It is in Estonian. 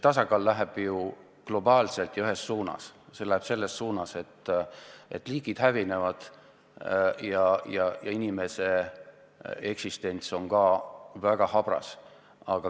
Tasakaal kaob globaalselt ja ühes suunas: liigid hävinevad ja ka inimese eksistents on väga habras.